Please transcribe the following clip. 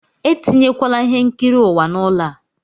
Etinyekwala ihe nkiri ụwa n'ụlọ a!